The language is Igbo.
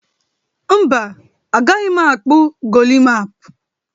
Mba, agaghị m akpụ golimap